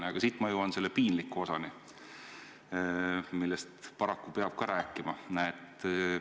Aga siit jõuan ma piinliku osani, millest paraku samuti peab rääkima.